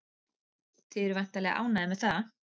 Þið eruð væntanlega ánægðir með það?